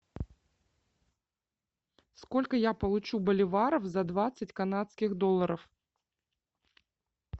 сколько я получу боливаров за двадцать канадских долларов